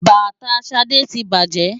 Bàtà Ṣadé ti bàjẹ́.